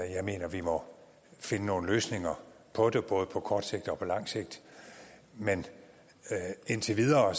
jeg mener vi må finde nogle løsninger på det både på kort sigt og på lang sigt men indtil videre er